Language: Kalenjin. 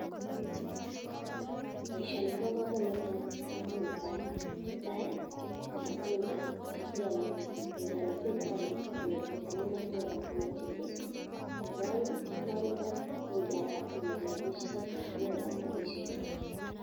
Boishoni kobokomonut amun netai ko matundek chekiome, ngiam tukuchondon inyoru vitamin ak tukuk alak chemokyinge borto, nebo oeng kealda, ngealda inyoru rabishek ak tukuk alak rabishechoton